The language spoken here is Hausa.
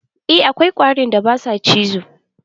Eh, akwai ƙwarin da ba su cizo.